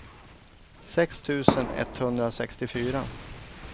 sex tusen etthundrasextiofyra